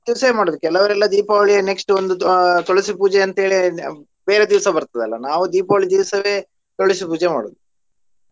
ಕೆಲವರೆಲ್ಲ Deepavali ಯ next ಒಂದು ಆಹ್ ತುಳಸಿ ಪೂಜೆ ಅಂತ ಹೇಳಿ ಬೇರೆ ದಿವ್ಸ ಬರ್ತದ ಅಲ್ಲಾ ನಾವು Deepavali ದಿವಸವೆ ತುಳಸಿ ಪೂಜೆ ಮಾಡೋದು.